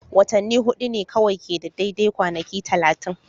Watanni hudu ne kawai ke da daidai kwanaki 30.